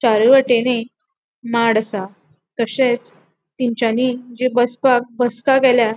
चारी वाटेनी माड आसा तशेच तैनचानी जी बसपाक बसका केल्या --